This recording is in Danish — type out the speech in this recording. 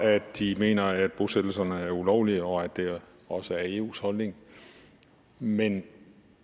at de mener at bosættelserne er ulovlige og at det også er eus holdning men